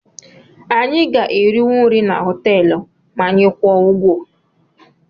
Anyị ga-eriwu nri na họteelụ ma anyị kwụọ ụgwọ